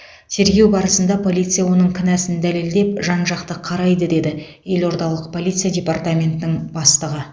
тергеу барысында полиция оның кінәсін дәлелдеп жан жақты қарайды деді елордалық полиция департаментінің бастығы